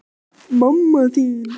Heimir: Komnir vel með í skipið?